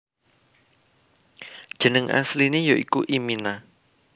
Jeneng asliné ya iku imina